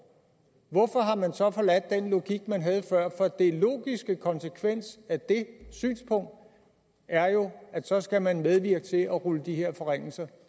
hvorfor har man så forladt den logik man havde før for den logiske konsekvens af det synspunkt er jo at så skal man medvirke til at rulle de her forringelser